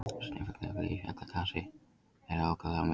Snefilefni í eldfjallagasi eru ákaflega mismunandi.